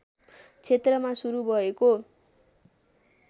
क्षेत्रमा शुरु भएको